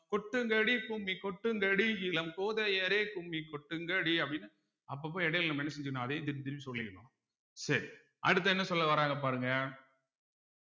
கொட்டுங்கடி கும்மி கொட்டுங்கடி இளம் கோதையரே கும்மி கொட்டுங்கடி அப்படீன்னு அப்பப்ப இடையில நம்ம என்ன செஞ்சிடனும் அதையே திருப்பி திருப்பி சொல்லிக்கணும் சரி அடுத்து என்ன சொல்ல வராங்க பாருங்க